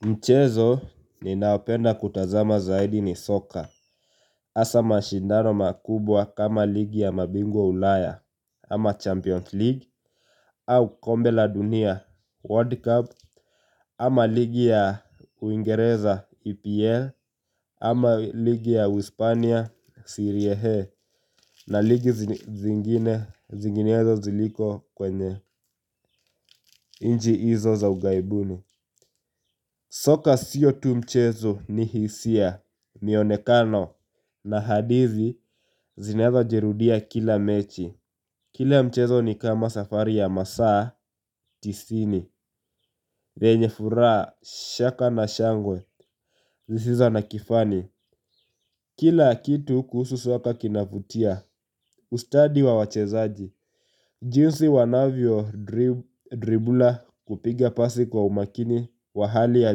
Mchezo ni naopenda kutazama zaidi ni soccer. Asa mashindano makubwa kama ligi ya mabingwa ulaya, ama Champions League, au kombela dunia World Cup, ama ligi ya uingereza EPL, ama ligi ya Wispania, Serie A, na ligi zinginezo ziliko kwenye inji izo za ugaibuni. Soka sio tu mchezo ni hisia mionekano na haditi zinaweza jirudia kila mechi. Kile mchezo ni kama safari ya masaa, tisini, venye furaa, shaka na shangwe, zisizo na kifani. Kila kitu kuhusu soka kinavutia, ustadi wa wachezaji jinsi wanavyo dribula kupiga pasi kwa umakini wahali ya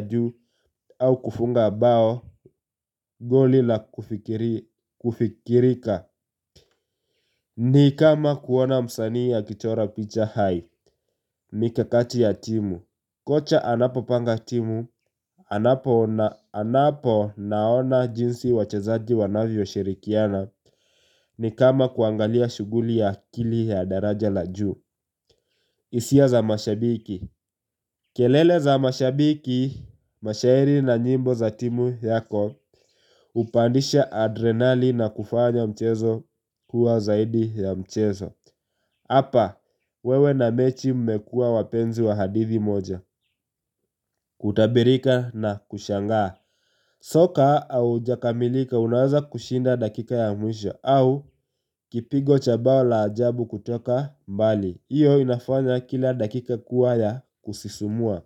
juu au kufunga bao golila kufikirika. Ni kama kuona msanii akijora picha hai. Mi kakati ya timu kocha anapo panga timu, anapo naona jinsi wachazaji wanavyo shirikiana. Ni kama kuangalia shuguli ya akili ya daraja la juu. Isia za mashabiki kelele za mashabiki, mashairi na nyimbo za timu yako upandisha adrenali na kufanya mchezo kuwa zaidi ya mchezo. Hapa, wewe na mechi mmekua wapenzi wa hadithi moja, kutabirika na kushanga. Soka au jakamilika unaweza kushinda dakika ya mwisho au kipigo chabao la ajabu kutoka mbali. Iyo inafanya kila dakika kuwa ya kusisumua.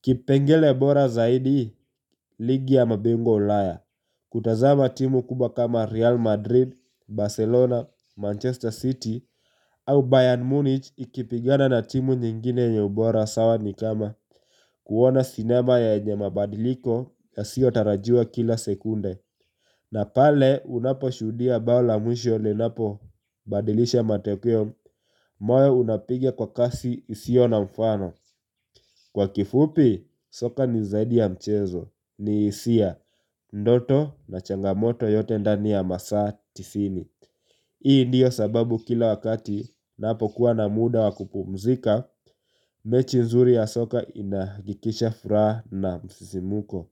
Kipengele bora zaidi ligi ya mabingwa ulaya kutazama timu kubwa kama Real Madrid, Barcelona, Manchester City Au Bayern Munich ikipigana na timu nyingine yenye ubora sawa ni kama kuona sinema ya yenye mabadiliko yasiotarajiwa kila sekunde. Na pale unapo shudia bau la mwisho lenapo badilisha matokweo. Moyo unapigia kwa kasi isio na mfano. Kwa kifupi, soka ni zaidi ya mchezo, ni isia, ndoto na changamoto yote ndani ya masaa tisini. Hii ndiyo sababu kila wakati napo kuwa na muda wa kupumzika, mechi nzuri ya soka inakikisha fura na msisimuko.